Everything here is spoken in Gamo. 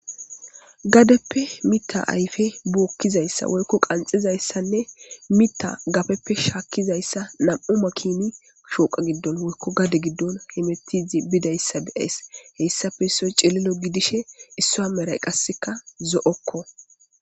Gadeppe mita ayfe buokkizayssa woykko qanxizayssanne mita gafeppe shaakkizayssa nam7u makini shooqa giddon woykko gade giddon hemetizi bidayssa beyays heyssafe issoy cililo gidishe issa a meray qasseka zo7okko.